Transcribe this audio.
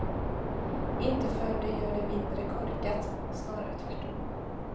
Inte för det gör det mindre korkat, snarare tvärt om.